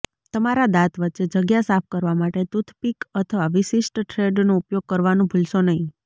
તમારા દાંત વચ્ચે જગ્યા સાફ કરવા માટે ટૂથપીક અથવા વિશિષ્ટ થ્રેડનો ઉપયોગ કરવાનું ભૂલશો નહીં